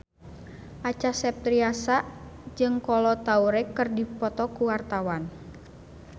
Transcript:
Acha Septriasa jeung Kolo Taure keur dipoto ku wartawan